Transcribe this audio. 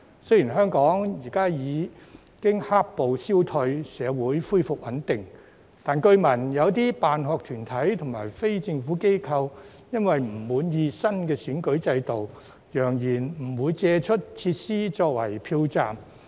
雖然香港現已"黑暴"消退，社會恢復穩定，但據聞有些辦學團體及非政府機構，因為不滿意新的選舉制度，揚言不會借出設施作為票站。